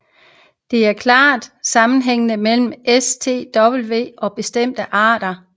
Der er en klar sammenhæng mellem TSWV og bestemte arter af trips